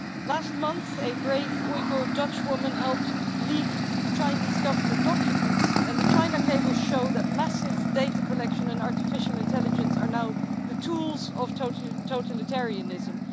Last month a brave Uyghur Dutchwoman helped leak Chinese Government documents, and the China cables show that massive data collection and artificial intelligence are now the tools of totalitarianism.